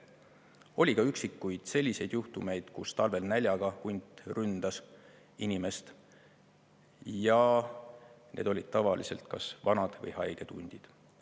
Oli ka üksikuid selliseid juhtumeid, kus talvel näljaga hunt ründas inimest, need olid tavaliselt kas vanad või haiged hundid.